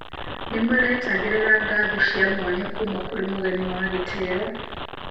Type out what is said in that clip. Nĩmaretagĩrĩra ngatho cia mwanya kũũma kũrĩ mũgeni wa gĩtĩo